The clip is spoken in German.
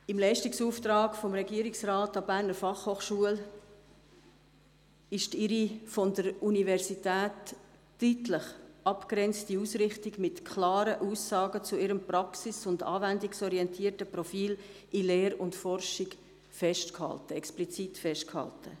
Im Leistungsauftrag des Regierungsrates an die BFH ist die von der Universität deutlich abzugrenzende Ausrichtung mit klaren Aussagen zum praxis- und anwendungsorientierten Profil in Lehre und Forschung explizit festgehalten.